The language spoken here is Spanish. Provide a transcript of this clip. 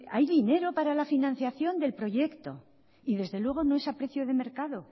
hay dinero para la financiación del proyecto y desde luego no es a precio de mercado